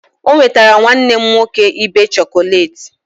O nwetara nwanne m nwoke ibe chọkọleti